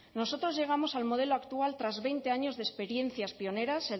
nosotros llegamos al modelo actual tras veinte años de experiencias pioneras